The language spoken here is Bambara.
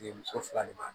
muso fila de b'a